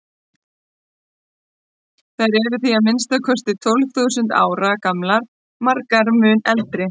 Þær eru því að minnsta kosti tólf þúsund ára gamlar, margar mun eldri.